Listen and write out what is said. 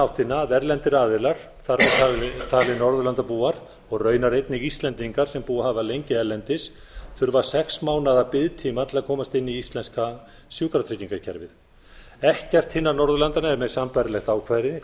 áttina að erlendir aðilar þar með talið norðurlandabúar og raunar einnig íslendingar sem búið hafa lengi erlendis þurfa sex mánaða biðtíma til að komast inn í íslenska sjúkratryggingakerfið ekkert hinna norðurlandanna er með sambærilegt ákvæði